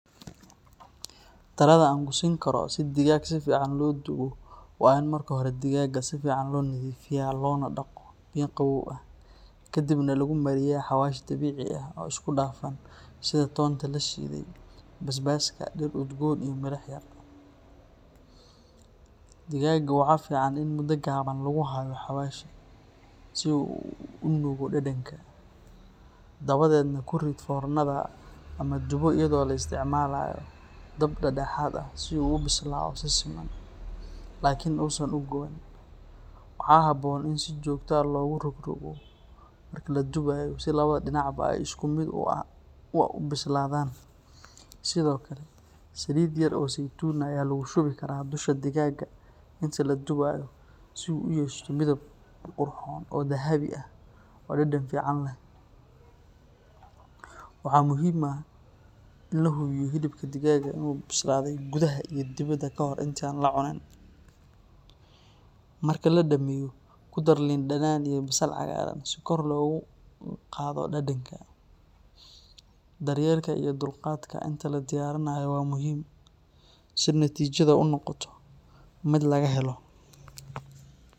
Talada aan ku siin karo si digaag si fiican loo dubo waa in marka hore digaaga si fiican loo nadiifiyaa loona dhaqo biyo qabow ah, kadibna lagu mariyaa xawaash dabiici ah oo isku dhafan sida toonta la shiiday, basbaaska, dhir udgoon, iyo milix yar. Digaaga waxaa fiican in muddo gaaban lagu hayo xawaasha si uu u nuugo dhadhanka. Dabadeedna ku rid foornada ama dubo iyadoo la isticmaalayo dab dhexdhexaad ah si uu u bislaado si siman, laakiin uusan u guban. Waxaa habboon in si joogto ah loogu rogrogo marka la dubayo si labada dhinacba ay si isku mid ah u bislaadaan. Sidoo kale, saliid yar oo saytuun ah ayaa lagu shubi karaa dusha digaaga inta la dubayo si uu u yeesho midab qurxoon oo dahabi ah oo dhadhan fiican leh. Waxaa muhiim ah in la hubiyo in hilibka digaaga uu bislaaday gudaha iyo dibaddaba ka hor inta aan la cunin. Marka la dhammeeyo, ku dar liin dhanaan iyo basal cagaaran si kor loogu qaado dhadhanka. Daryeelka iyo dulqaadka inta la diyaarinayo waa muhiim si natiijadu u noqoto mid laga helo.